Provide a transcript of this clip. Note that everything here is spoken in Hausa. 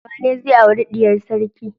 Wanene zai auri diyar sarki?